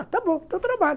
Ah, tá bom, então trabalhe.